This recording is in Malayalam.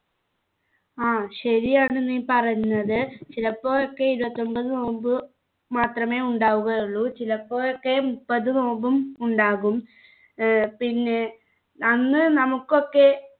ആ ശരിയാണ് നീ പറഞ്ഞത് ചിലപ്പോഴൊക്കെ ഇരുപത്തിഒമ്പത്‌ നോമ്പ് മാത്രമേ ഉണ്ടാവുകയുള്ളൂ ചിലപ്പോഴൊക്കെ മുപ്പത് നോമ്പും ഉണ്ടാകും ഏർ പിന്നെ അന്ന് നമുക്കൊക്കെ